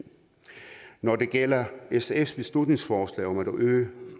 når det gælder sfs beslutningsforslag om at øge